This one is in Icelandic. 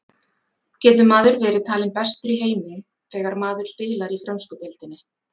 Getur maður verið talinn bestur í heimi þegar maður spilar í frönsku deildinni?